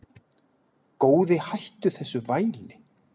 Góði hættu þessu væli!